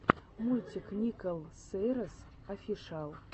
мультик никол сейнрэс офишиал